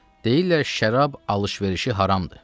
Deyirlər şərab alış-verişi haramdır.